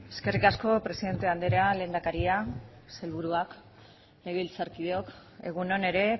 eskerrik asko presidente andrea lehendakaria sailburuak legebiltzarkideok egun on ere